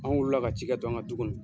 Anw wulila ka cikɛ to an ka du kɔnɔ.